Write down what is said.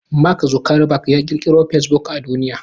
Mark Zuckerberg ya ƙirkiro fasebuk a duniya.